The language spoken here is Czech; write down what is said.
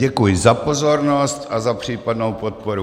Děkuji za pozornost a za případnou podporu.